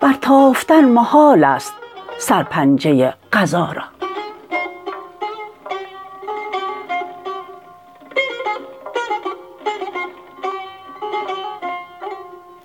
برتافتن محال است سرپنجه قضا را